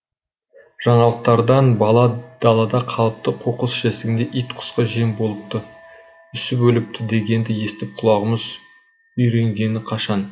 жаңалықтардан бала далада қалыпты қоқыс жәшігінде ит құсқа жем болыпты үсіп өліпті дегенді естіп құлағымыз үйренгені қашан